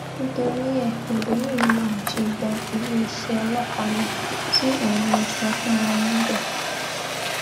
nítorí ẹ lóbìnrin yìí lòun ṣe gba iléeṣẹ ọlọpàá lọ tí òun lọọ sọ fún wọn níbẹ